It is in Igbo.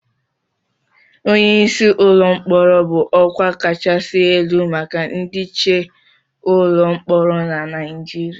Onye isi ụlọ mkpọrọ bụ ọkwa kachasị elu maka ndị nche ụlọ mkpọrọ na Nigeria